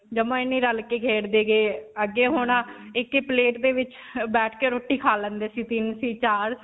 ਜਮਾਂ ਹੀ ਨਹੀਂ ਰਲਕੇ ਖੇਡਦੇ ਕਿ ਅੱਗੇ ਹੁਣ ਅਅ ਇੱਕ ਹੀ plate ਦੇ ਵਿੱਚ ਬੈਠ ਕੇ ਰੋਟੀ ਖਾ ਲੈਂਦੇ ਸੀ. ਤਿੰਨ ਸੀ, ਚਾਰ.